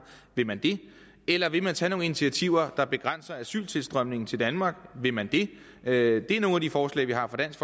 vil man det eller vil man tage nogle initiativer der begrænser asyltilstrømningen til danmark vil man det det er nogle af de forslag vi har fra dansk